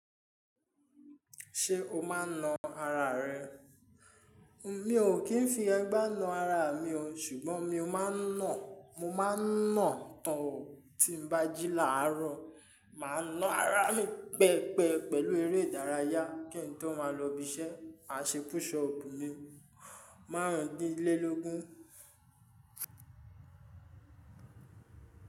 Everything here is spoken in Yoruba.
Ṣé o máa ń na ara rẹ? Mi ò kí ń fi ẹgbá na ara mi o, ṣùgbọ́n mi máa ń nà, mo máa ń nà tán o. Tí n bá jí láàárọ̀, mà á ná ara mi pẹpẹ pẹ̀lú eré ìdárayá kí n tó máa lọ ibi iṣẹ́. Má ṣe push up ni márùn-ún dín lé lógún.